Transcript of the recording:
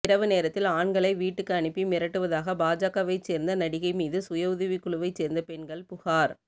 இரவு நேரத்தில் ஆண்களை வீட்டுக்கு அனுப்பி மிரட்டுவதாக பாஜகவைச் சேர்ந்த நடிகை மீது சுய உதவிக்குழுவைச் சேர்ந்த பெண்கள்புகார்